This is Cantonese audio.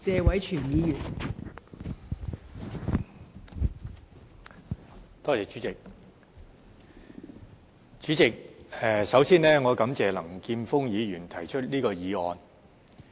代理主席，我首先感謝林健鋒議員提出這項議案。